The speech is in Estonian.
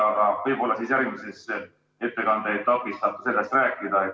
Aga võib-olla siis järgmises ettekande etapis saab sellest rääkida.